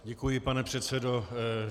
Děkuji, pane předsedo.